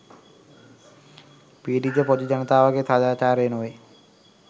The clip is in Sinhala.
පීඩිත පොදු ජනතාවගේ සාදාචාරය නොවේ